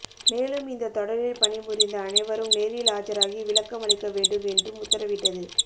மேலும் இந்தத் தொடரில் பணிபுரிந்த அனைவரும் நேரில் ஆஜராகி விளக்கம் அளிக்க வேண்டும் என்றும் உத்தரவிட்டது